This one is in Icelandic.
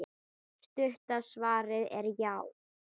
Stutta svarið er já.